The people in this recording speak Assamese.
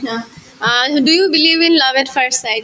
Uh, uh do you believe in love at first side ?